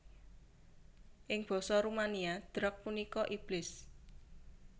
Ing basa Rumania Drac punika iblis